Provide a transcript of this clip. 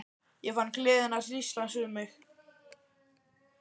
Ég fann gleðina hríslast um mig.